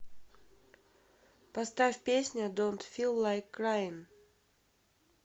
поставь песня донт фил лайк краин